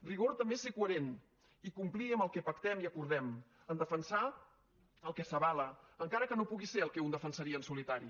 rigor també és ser coherent i complir amb el que pactem i acordem a defensar el que s’avala encara que no pugui ser el que un defensaria en solitari